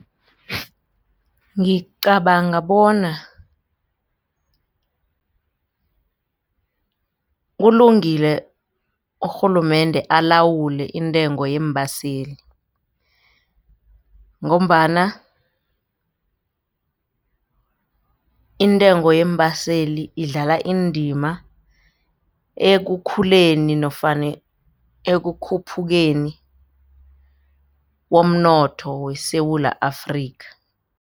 Ngicabanga bona kulungile urhulumende alawule intengo yeembaseli ngombana intengo yeembaseli idlala indima ekukhuleni nofana ekukhuphukeni komnotho weSewula Afrika.